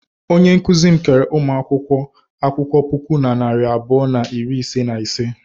Onye nkụzi m keere ụmụ akwụkwọ akwụkwọ puku na narị abụọ na iri ise na ise.